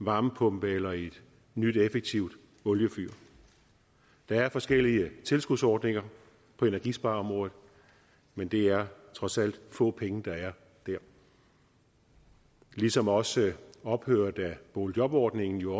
varmepumpe eller i et nyt effektivt oliefyr der er forskellige tilskudsordninger på energispareområdet men det er trods alt få penge der er der ligesom også ophøret af boligjobordningen jo